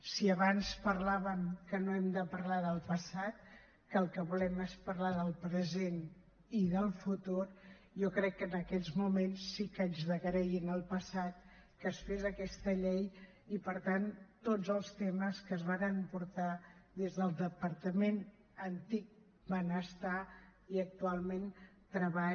si abans parlàvem que no hem de parlar del passat que el que volem és parlar del present i del futur jo crec que en aquests moments sí que haig d’agrair en al passat que es fes aquesta llei i per tant tots els temes que es varen portar des del departament antic benestar i actualment treball